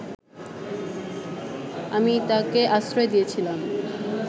আমি তাকে আশ্রয় দিয়েছিলাম